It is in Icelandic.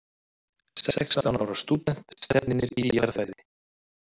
Sextán ára stúdent stefnir í jarðfræði